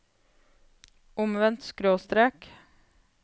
omvendt skråstrek